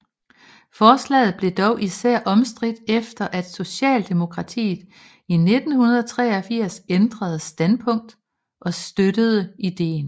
Forslaget blev dog især omstridt efter at Socialdemokratiet i 1983 ændrede standpunkt og støttede ideen